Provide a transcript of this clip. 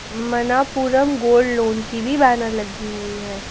Manappuram gold loan की भी banner लगी हुई है।